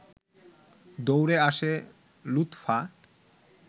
দৌড়ে আসে লুৎফা